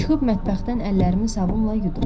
Çıxıb mətbəxdən əllərimi sabunla yudum.